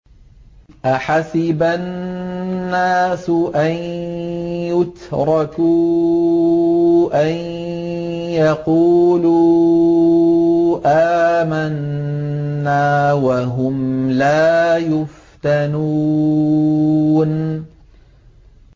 أَحَسِبَ النَّاسُ أَن يُتْرَكُوا أَن يَقُولُوا آمَنَّا وَهُمْ لَا يُفْتَنُونَ